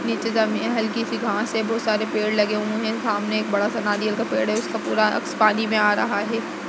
नीचे जमीन मे हल्की सी घास है। बोहोत सारे पेड़ लगे हुए हैं। सामने एक बड़ा सा नारियल का पेड़ है। उसका पूरा अक्ष पानी में आ रहा है।